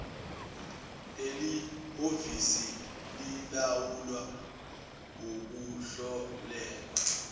lelihhovisi lilawula ukuhlolelwa